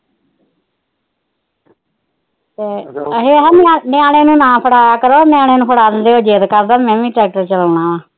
ਅਸੀ ਨਿਆਣਏ ਨੂੰ ਨਾ ਫੜਾਇਆ ਕਰੋ ਨਿਆਣੇ ਨੂੰ ਫੜਾ ਦਿੰਦੇ ਉਹ ਜਿਦ ਕਰਦਾ ਮੈ ਵੀ ਟਰੈਕਟਰ ਚਲਾਉਣਾ